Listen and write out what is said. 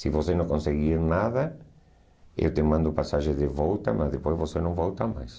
Se você não conseguir nada, eu te mando passagem de volta, mas depois você não volta mais.